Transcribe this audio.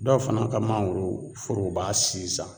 Dɔw fana ka mangoro foroba sizan